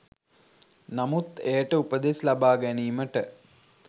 නමුත් එයට උපදෙස් ලබා ගැනීමට